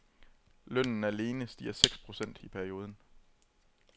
Lønnen alene stiger seks procent i perioden.